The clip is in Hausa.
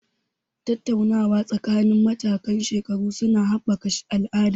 Tattaunawa tsakanin matakan shekaru su na haɓaka al'ada.